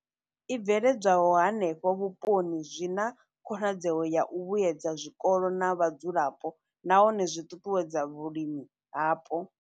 I bveledzwaho henefho vhuponi zwi na khonadzeo ya u vhuedza zwikolo na vhadzulapo nahone zwi ṱuṱuwedza vhulimi hapo.